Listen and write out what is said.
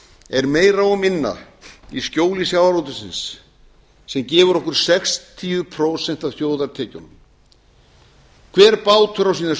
er meira og minna í skjóli sjávarútvegsins sem gefur okkur sextíu prósent af þjóðartekjunum hver bátur á sína